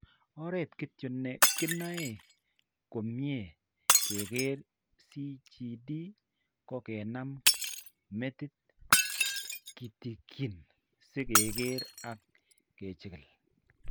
Oret kityo ne kinae komnye keker CJD ko kenem metiit kitikin si keker ak kechigil.